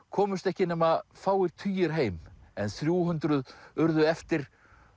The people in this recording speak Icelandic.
komust ekki nema fáir tugir heim en þrjú hundruð urðu eftir